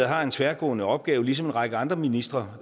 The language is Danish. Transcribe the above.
har en tværgående opgave ligesom en række andre ministre